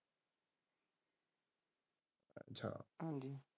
ਹਾਜ਼ੀ।